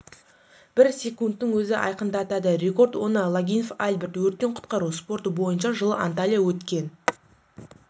бір секундтың өзі айқындатады рекорд оны логинов альберт өрттен құтқару спорты бойынша жылы анталия өткен